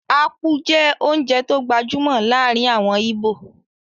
Ápú jẹ́ oúnjẹ tó gbajúmọ̀ láàrin àwọn íbò